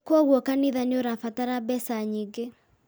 Kwoguo kanitha nĩ ũrabatara mbeca nyingĩ